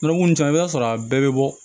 Nɔnɔko ninnu caman i b'a sɔrɔ a bɛɛ bɛ bɔ